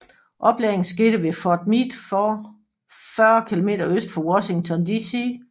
Oplæringen skete ved Fort Meade 40 km øst for Washington DC